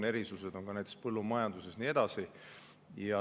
Erisused on näiteks põllumajanduses ja nii edasi.